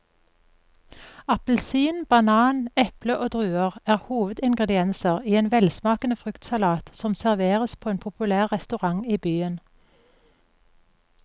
Appelsin, banan, eple og druer er hovedingredienser i en velsmakende fruktsalat som serveres på en populær restaurant i byen.